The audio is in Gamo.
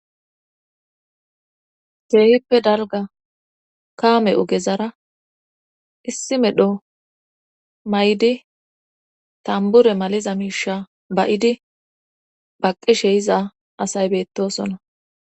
geehippe dalga kaame ogezara issi medho may7di tambure maliza miisha bayidi baqqishe yiza asay beettosona